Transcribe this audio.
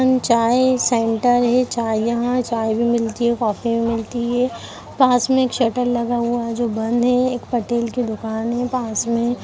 न चाय सेंटर है चाय यहाँ चाय भी मिलती है कॉफी भी मिलती है पास में एक शटर लगा हुआ है जो बंद है एक पटेल की दुकान है पास में --